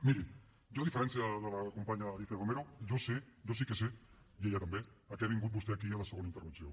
miri jo a diferència de la companya alícia romero jo sé jo sí que sé i ella també a què ha vingut vostè aquí a la segona intervenció